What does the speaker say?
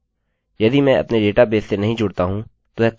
यदि मैं अपने डेटाबेस से नहीं जुड़ता हूँ तो यह कार्य नहीं करेगा